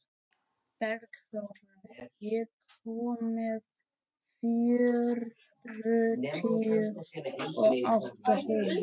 Bergþóra, ég kom með fjörutíu og átta húfur!